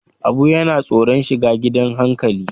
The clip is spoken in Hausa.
Abu yana tsoron shiga gidan hankali.